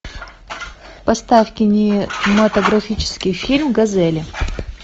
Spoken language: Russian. поставь кинематографический фильм газели